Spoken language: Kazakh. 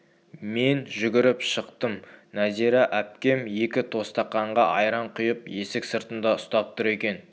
мен жүгіріп шықтым нәзира әпкем екі тостақанға айран құйып есік сыртында ұстап тұр екен